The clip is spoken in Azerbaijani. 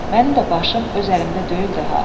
Mənim də başım öz əlimdə deyildi ha.